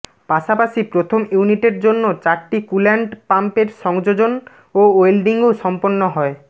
পাশাপাশি প্রথম ইউনিটের জন্য চারটি কুল্যান্ট পাম্পের সংযোজন ও ওয়েল্ডিংও সম্পন্ন হয়